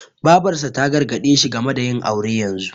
Babarsa ta gargaɗe shi game da yin aure yanzu.